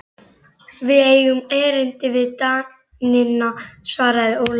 Við eigum erindi við Danina, svaraði Ólafur Tómasson.